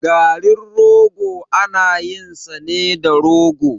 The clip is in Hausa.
Garin rogo ana yin sa ne da rogo.